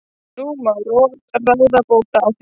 En nú má ráða bóta á því.